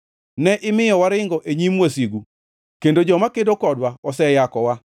Ne imiyo waringo e nyim wasigu kendo joma kedo kodwa oseyakowa.